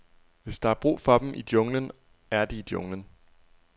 Hvis der er brug for dem i junglen, er de i junglen.